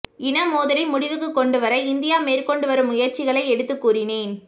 இன மோதலை முடிவுக்கு கொண்டுவர இந்தியா மேற்கொண்டு வரும் முயற்சிகளை எடுத்துக் கூறினேன்